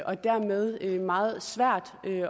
og dermed meget svært